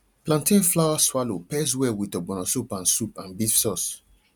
plantain flour swallow pairs well with ogbono soup and soup and beef sauce